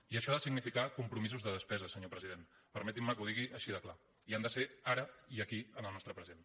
i això ha de significar compromisos de despesa senyor president permetin me que ho digui així de clar i han de ser ara i aquí en el nostre present